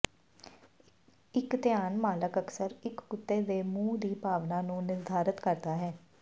ਇਕ ਧਿਆਨ ਮਾਲਕ ਅਕਸਰ ਇਕ ਕੁੱਤੇ ਦੇ ਮੂੰਹ ਦੀ ਭਾਵਨਾ ਨੂੰ ਨਿਰਧਾਰਤ ਕਰਦਾ ਹੈ